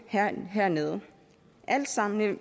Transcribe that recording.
hernede alt sammen